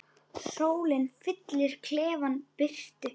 Sólin fyllir klefann birtu.